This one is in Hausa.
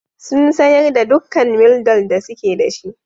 Sun sayar da dukkan Mildol da suke da shi.